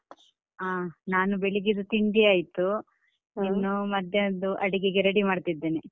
ಹ ನಾನ್ ಬೆಳಿಗ್ಗೆದ್ದು ತಿಂಡಿ ಆಯ್ತು ಹ ಮಧ್ಯಾಹ್ನದ್ದು ಅಡಿಗೆಗೆ ready ಮಾಡ್ತಾ ಇದ್ದೇನೆ.